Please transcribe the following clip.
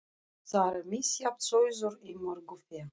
Og þar er misjafn sauður í mörgu fé.